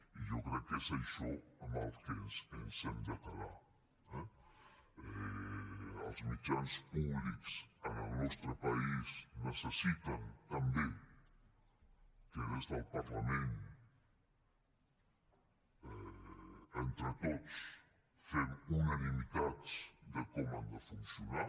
i jo crec que és això amb el que ens hem de quedar eh els mitjans públics en el nostre país necessiten també que des del parlament entre tots fem unanimitats de com han de funcionar